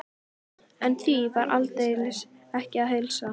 En því var aldeilis ekki að heilsa.